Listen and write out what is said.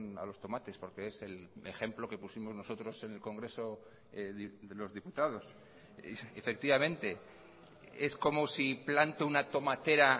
a los tomates porque es el ejemplo que pusimos nosotros en el congreso de los diputados efectivamente es como si planto una tomatera